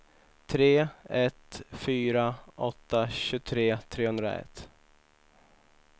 tre ett fyra åtta tjugotre trehundraett